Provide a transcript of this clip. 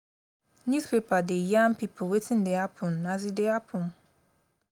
newspaper dey yarn pipo wetin dey happen as e dey happen.